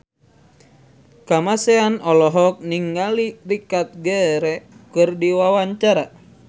Kamasean olohok ningali Richard Gere keur diwawancara